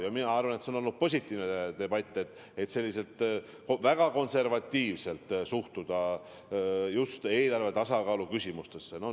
Ja mina arvan, et see on olnud positiivne debatt, tulebki selliselt väga konservatiivselt suhtuda eelarve tasakaalu küsimustesse.